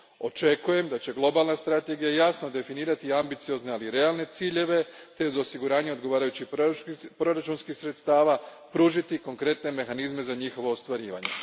Očekujem da će globalna strategija jasno definirati ambiciozne, ali realne ciljeve te uz osiguranje odgovarajućih proračunskih sredstava pružiti konkretne mehanizme za njihovo ostvarivanje.